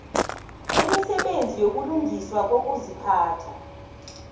bemisebenzi yokulungiswa kokuziphatha